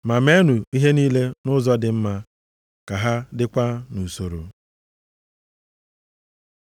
Ma meenụ ihe niile nʼụzọ dị mma, ka ha dịkwa nʼusoro.